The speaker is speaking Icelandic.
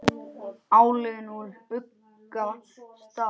álögin úr ugga stað